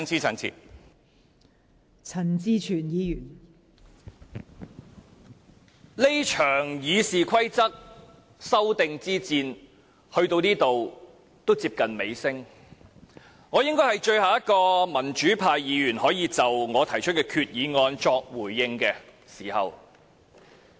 這場《議事規則》修訂之戰到此已經接近尾聲，我應該是最後一名可以就我提出的擬議決議案作回應的民主派議員。